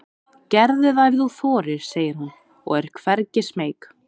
Gerðu það ef þú þorir, segir hún og er hvergi smeyk.